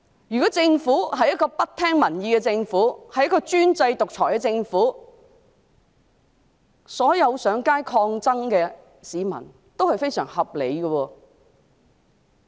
如果我們所面對的是一個不聽民意、專制獨裁的政府，那麼市民上街抗爭是非常合理的。